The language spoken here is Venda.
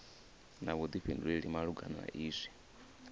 na vhuḓifhinduleli malugana na izwi